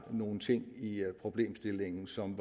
nogle ting i problemstillingen som